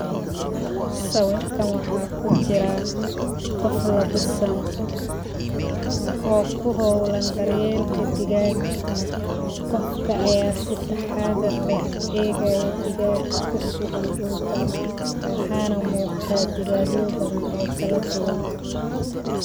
Sawirkan waxaa ku jiraa qof labisan,o ku Howlan daryelka digaga, qofka aya sitaxadar leh u egaya digaga kusugan dulka, waxana muqtaa digagyo badhan o kaladuwan.